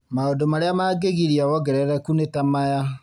Maũndũ marĩa mangĩgiria wongerereku nĩ ta maya